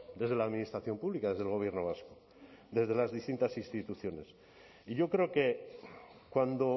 desde la administración pública desde el gobierno vasco desde las distintas instituciones y yo creo que cuando